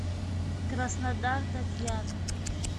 краснодар татьяна